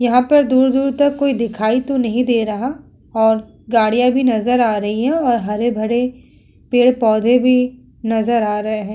यहां पर दूर-दूर तक तो कोई दिखाई तो नहीं दे रहा और गाड़ियां भी नजर आ रही है और हरे-भरे पेड़-पौधे भी नजर आ रहे हैं।